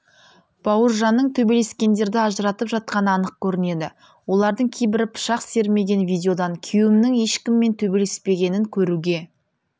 бауыржанның төбелескендерді ажыратып жатқаны анық көрінеді олардың кейбірі пышақ сермеген видеодан күйеуімнің ешкіммен төбелеспегенін көруге